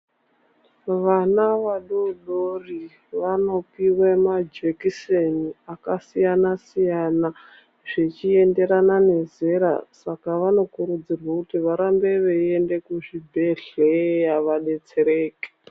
Vana vadodori, vanopiwe majekiseni akasiyana siyana, zvichiyenderana nezera. Saka vanokurudzirwa kuti varambe veyiyende kuzvibhedhleya, vadetsereke.